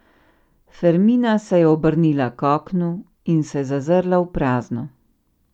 Fermina se je obrnila k oknu in se zazrla v prazno.